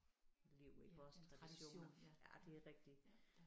Liv iggås traditioner ja det er rigtigt